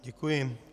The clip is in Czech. Děkuji.